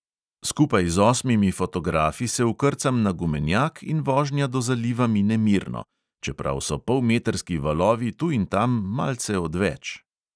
Skupaj z osmimi fotografi se vkrcam na gumenjak in vožnja do zaliva mine mirno, čeprav so polmetrski valovi tu in tam malce odveč.